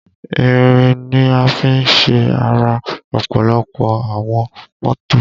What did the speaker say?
Ìrìn ni a fi ṣe ara ọ̀pọ̀lọpọ̀ àwọn mọ́tò